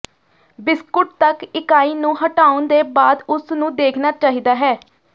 biscuit ਤੱਕ ਇਕਾਈ ਨੂੰ ਹਟਾਉਣ ਦੇ ਬਾਅਦ ਉਸ ਨੂੰ ਦੇਖਣਾ ਚਾਹੀਦਾ ਹੈ